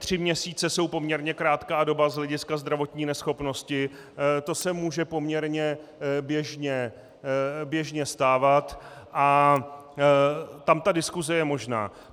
Tři měsíce jsou poměrně krátká doba z hlediska zdravotní neschopnosti, to se může poměrně běžně stávat, a tam diskuse je možná.